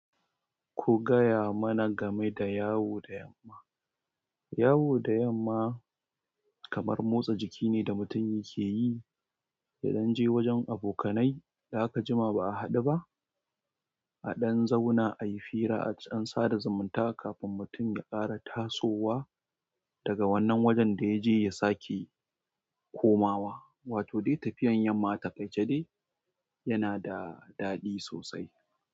Ku gaya mana game da yawo da yamma. Yawo da yamma kamar motsa jiki ne da mutum yake yi zan je wajen abokanai da aka jima ba'a haɗu ba a ɗan zauna, a yi fira, a ɗan sada zumunta kafin mutum ya ƙara tasowa daga wannan wajen da ya je ya sake komawa. Wato dai tafiyar yamma atakaice dai yana da daɗi sosai.